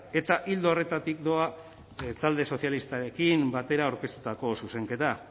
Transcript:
eta ildo horretatik doa talde sozialistarekin batera aurkeztutako zuzenketa